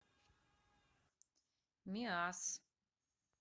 миасс